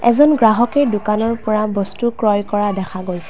এজন গ্ৰাহকে দোকানৰ পৰা বস্তু ক্ৰয় কৰা দেখা গৈছে।